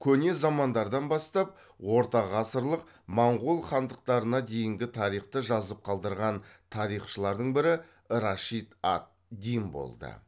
көне замандардан бастап ортағасырлық моңғол хандықтарына дейінгі тарихты жазып қалдырған тарихшылардың бірі рашид ад дин болды